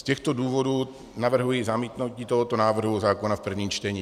Z těchto důvodů navrhuji zamítnutí tohoto návrhu zákona v prvním čtení.